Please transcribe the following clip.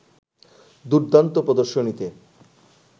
দুর্দান্ত প্রদর্শনীতে